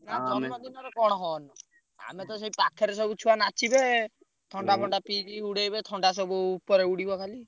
ଆଉ ଜନ୍ମଦିନରେ କଣ ଆମେତ ସେଇ ପାଖରେ ସବୁ ଛୁଆ ନାଚିବେ ଥଣ୍ଡା ପିଇକି ଉଡେଇବେ ଥଣ୍ଡା ସବୁ ଉପରେ ଉଡ଼ିବ ଖାଲି।